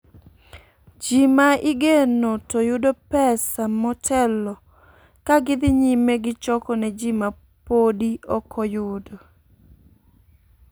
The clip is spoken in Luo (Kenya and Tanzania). Ji ma igeno to yudo pesa motelo ka gidhi nyime gi choko ne ji ma podi ok oyudo.